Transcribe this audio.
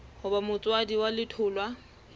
ho ba motswadi wa letholwa